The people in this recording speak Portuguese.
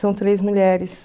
São três mulheres.